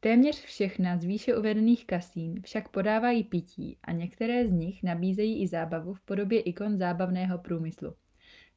téměř všechna z výše uvedených kasín však podávají pití a některá z nich nabízejí i zábavu v podobě ikon zábavního průmyslu